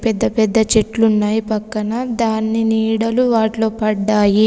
పెద్ద పెద్ద చెట్లున్నాయి పక్కన. దాన్ని నీడలు వాటిలో పడ్డాయి.